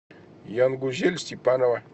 янгузель степанова